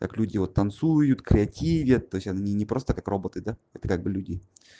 как люди вот танцуют креативят то есть они не просто как роботы да это как бы люди